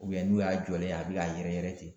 n'u y'a jɔlen a bi k'a yɛrɛ yɛrɛ